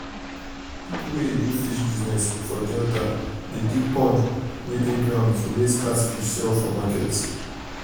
people wey um dey do fish business for delta dey dig pond wey um dey ground to raise catfish sell for market.